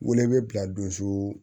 Wele bɛ bila donso